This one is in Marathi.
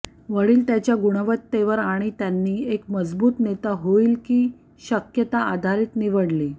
वडील त्याच्या गुणवत्तेवर आणि त्यांनी एक मजबूत नेता होईल की शक्यता आधारित निवडली